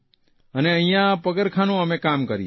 અને અહીંયા પગરખાંનું કામ કરીએ છીએ